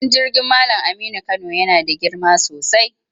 Filin jirgin Mallam Aminu Kano yana da girma sosai.